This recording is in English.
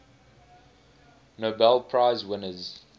nobel prize winners